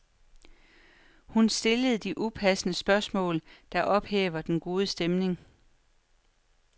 Hun stiller de upassende spørgsmål, der ophæver den gode stemning.